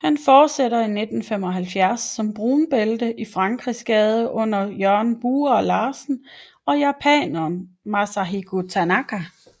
Han fortsætter i 1975 som brunbælte i Frankrigsgade under Jørgen Bura Larsen og japaneren Masahiko Tanaka